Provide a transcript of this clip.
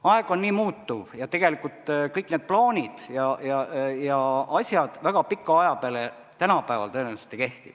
Aeg on nii muutuv ja tegelikult kõik need plaanid ja asjad väga pika aja peale tõenäoliselt ei kehti.